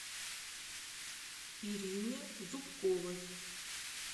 ирине зубковой